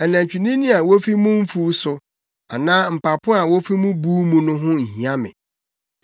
Anantwinini a wofi mo mfuw so anaa mpapo a wofi mo buw mu ho nhia me,